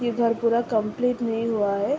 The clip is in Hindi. ये घर पूरा कम्प्लीट नहीं हुआ है।